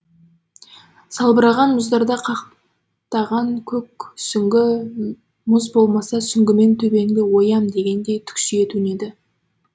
салбыраған мұздарда қаптаған көк сүңгі мұз болмаса сүңгімен төбеңді оям дегендей түксие төнеді